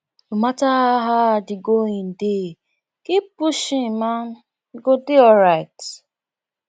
no matter how hard dey going dey keep pushing man you go dey alright